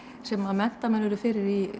sem að menntamenn urðu fyrir